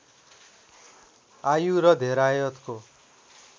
आयु र धेरायतको